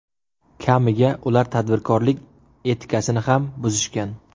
Kamiga, ular tadbirkorlik etikasini ham buzishgan.